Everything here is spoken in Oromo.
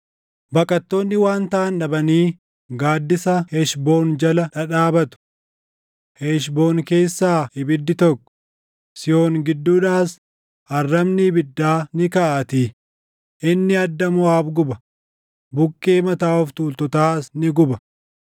“Baqattoonni waan taʼan dhabanii gaaddisa Heshboon jala dhadhaabatu; Heshboon keessaa ibiddi tokko, Sihoon gidduudhaas arrabni ibiddaa ni kaʼaatii; inni adda Moʼaab guba, buqqee mataa of tuultotaas ni guba.